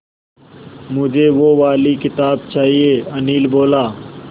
मुझे वो वाली किताब चाहिए अनिल बोला